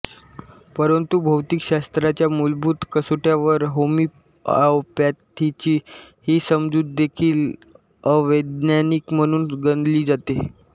परंतु भौतिकशास्त्राच्या मूलभूत कसोट्यांवर होमिओपॅथीची ही समजूतदेखील अवैज्ञानिक म्हणून गणली जाते